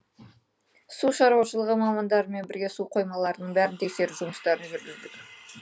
су шаруашылығы мамандарымен бірге су қоймаларының бәрін тексеру жұмыстарын жүргіздік